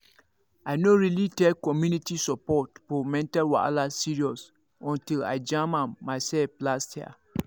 i no really take community support for mental wahala serious until i jam am myself last year.